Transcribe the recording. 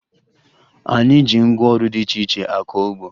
Anyị ji ngwaọrụ dị iche iche akọ ugbo